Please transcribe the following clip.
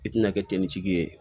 I tɛna kɛ ten nitigi ye